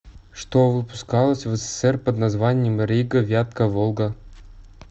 что выпускалось в ссср под названием рига вятка волга